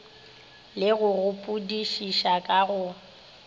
le go gopodišiša ka go